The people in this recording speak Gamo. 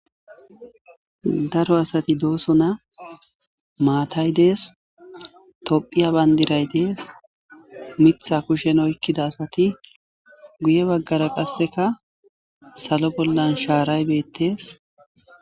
Daro asati dooso na maatay dees tophiya bayndiray dees mitha kushen oykkida asati guye baggara qasseka salo bollan shaaray beettes